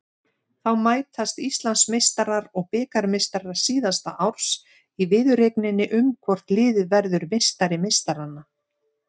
Þá mætast Íslandsmeistarar og bikarmeistarar síðasta árs í viðureigninni um hvort liðið verður meistari meistaranna.